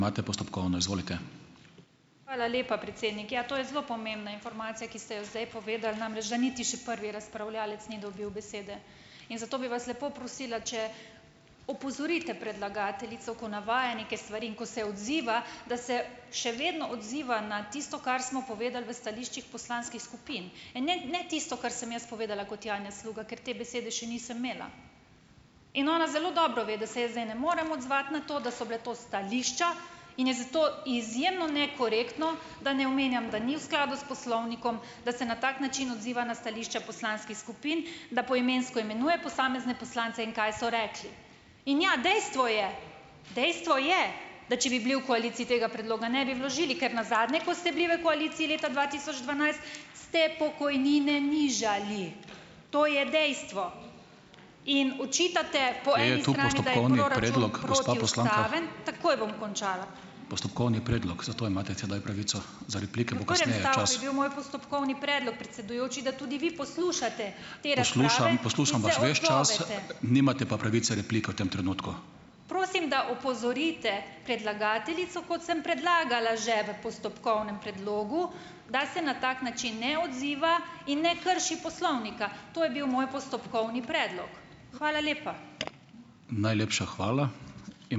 Hvala lepa, predsednik. Ja, to je zelo pomembna informacija, ki ste jo zdaj povedali, namreč da niti še prvi razpravljavec ni dobil besede. In zato bi vas lepo prosila, če opozorite predlagateljico, ko navaja neke stvari in ko se odziva, da se še vedno odziva na tisto, kar smo povedali v stališčih poslanskih skupin, ne, ne tisto, kar sem jaz povedala kot Janja Sluga, ker te besede še nisem imela. In ona zelo dobro ve, da se jaz zdaj ne morem odzvati na to, da so bila to stališča. In je zato izjemno nekorektno, da ne omenjam, da ni v skladu s poslovnikom, da se na tak način odziva na stališča poslanskih skupin, da poimensko imenuje posamezne poslance in kaj so rekli. In, ja, dejstvo je, dejstvo je, da če bi bili v koaliciji, tega predloga ne bi vložili, ker nazadnje, ko ste bili v koaliciji leta dva tisoč dvanajst, ste pokojnine nižali, to je dejstvo. In očitate. Takoj bom končala. ... postopkovni predlog, predsedujoči, da tudi vi poslušate. Prosim, da opozorite predlagateljico, kot sem predlagala že v postopkovnem predlogu, da se na tak način ne odziva in ne krši poslovnika. To je bil moj postopkovni predlog. Hvala lepa.